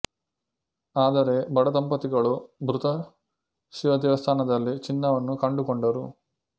ಆದರೆ ಬಡ ದಂಪತಿಗಳು ಮೃತ ಶಿವ ದೇವಸ್ಥಾನದಲ್ಲಿ ಚಿನ್ನವನ್ನು ಕಂಡುಕೊಂಡರು